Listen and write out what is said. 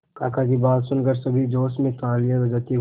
काका की बात सुनकर सभी जोश में तालियां बजाते हुए